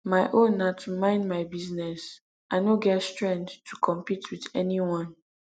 my own na to mind my business i no get strength to compete with anyone